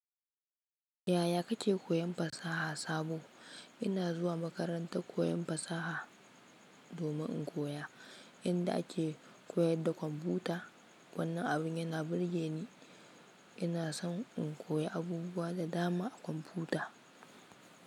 Yaya kake koyan fasaha Sabo? Ina zuwa makarantar koyon fasaha domin in koya yadda ake koyar da kwamfuta. Wannan abin yana burge ni. Ina son in koyi abubuwa da dama a kwamfuta.